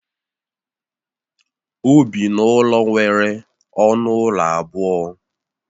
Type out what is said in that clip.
O bi n'ụlọ nwere ọnụ ụlọ abụọ